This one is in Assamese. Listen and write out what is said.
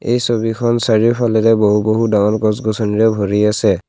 এই ছবিখন চাৰিওফালে বহু বহু ধৰণ গছ গছনিৰে ভৰি আছে।